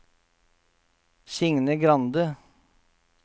Signe Grande